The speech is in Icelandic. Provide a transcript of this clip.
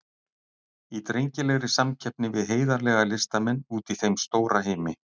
Í drengilegri samkeppni við heiðarlega listamenn úti í þeim stóra heimi.